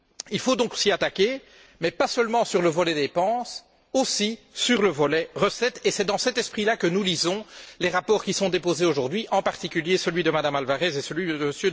Il faut donc s'y attaquer, non seulement sur le volet dépenses, mais aussi sur le volet recettes, et c'est dans cet esprit là que nous lisons les rapports déposés aujourd'hui, en particulier celui de M me Alvarez et celui de M.